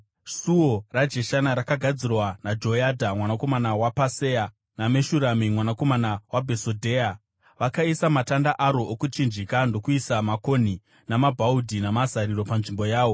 Suo raJeshana rakagadzirwa naJoyadha mwanakomana waPasea naMeshurami mwanakomana waBhesodheya. Vakaisa matanda aro okuchinjika ndokuisa makonhi namabhaudhi namazariro panzvimbo yawo.